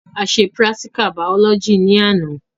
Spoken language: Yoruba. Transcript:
A se pírátíkà bàọ́lọ́gì ní àná